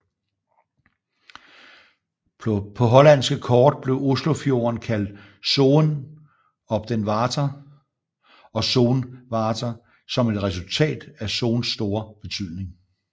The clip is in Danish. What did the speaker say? På hollandske kort blev Oslofjorden kaldt Zoen op den Water og Soen Water som et resultat af Sons store betydning